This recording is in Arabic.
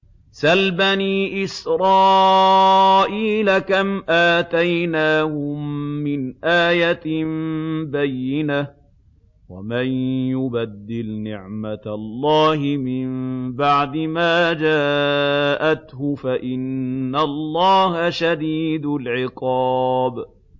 سَلْ بَنِي إِسْرَائِيلَ كَمْ آتَيْنَاهُم مِّنْ آيَةٍ بَيِّنَةٍ ۗ وَمَن يُبَدِّلْ نِعْمَةَ اللَّهِ مِن بَعْدِ مَا جَاءَتْهُ فَإِنَّ اللَّهَ شَدِيدُ الْعِقَابِ